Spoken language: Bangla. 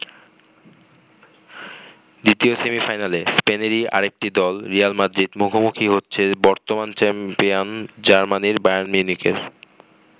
দ্বিতীয় সেমিফাইনালে স্পেনেরই আরেকটি দল রিয়েল মাদ্রিদ মুখোমুখি হচ্ছে বর্তমান চ্যাম্পিয়ন জার্মানির বায়ার্ন মিউনিখের।